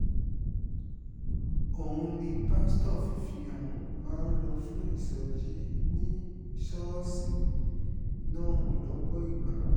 òun ni pásítọ̀ fifihàn máa ń lò fún ìsọjí ní ṣọ́ọ̀ṣì náà lọ́pọ̀ ìgbà